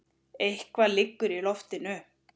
Eitthvað liggur í loftinu!